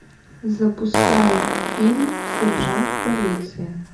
запускай фильм сержант полиции